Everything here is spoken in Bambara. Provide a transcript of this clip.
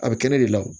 A bɛ kɛnɛ de la